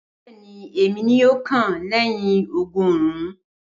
Bẹẹni, èmi ni yoo kàn lẹyìn ọgọrun.